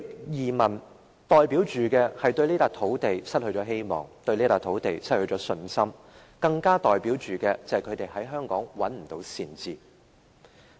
移民代表對這片土地失去希望，對這片土地失去信心，更代表他們在香港找不到善治。